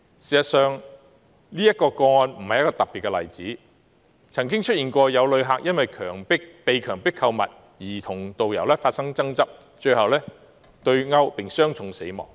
事實上，這宗個案並非特別的例子，曾有旅客因被強迫購物而與導遊發生爭執被毆，最終傷重死亡。